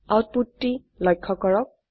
output টি লক্ষ্য কৰক